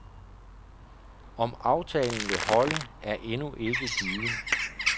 Om aftalen vil holde, er endnu ikke givet.